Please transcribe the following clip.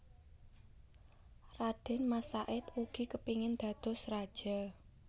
Radén Mas Said ugi kepingin dados raja